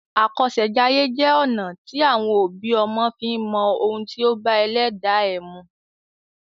Àkọsèjayé jẹ́ ọ̀nà à ti àwọn òbí ọmọ fi ń mọ ohun tí ó bá ẹlẹ́dàá ẹ mu.